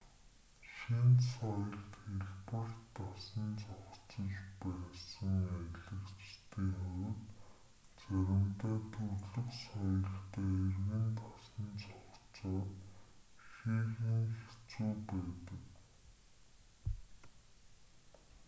шинэ соёлд хялбар дасан зохицож байсан аялагчдын хувьд заримдаа төрөлх соёлдоо эргэн дасан зохицоход ихээхэн хэцүү байдаг